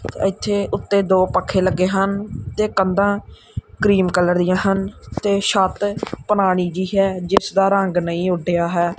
ਇੱਥੇ ਉੱਤੇ ਦੋ ਪੱਖੇ ਲੱਗੇ ਹਨ ਤੇ ਕੰਧਾਂ ਕ੍ਰੀਮ ਕਲਰ ਦੀਆਂ ਹਨ ਤੇ ਛੱਤ ਪੁਰਾਣੀ ਜਿਹੀ ਹੈ ਜਿਸ ਦਾ ਰੰਗ ਨਹੀਂ ਉਡਿਆ ਹੈ।